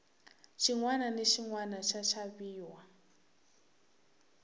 xinwana na xinwana xa xaviwa